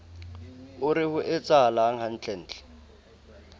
o re ho etsahalang hantlentle